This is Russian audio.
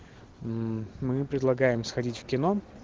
мы предлагаем сходить в кино